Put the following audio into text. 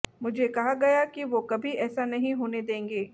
मुझे कहा गया कि वो कभी ऐसा नहीं होने देंगे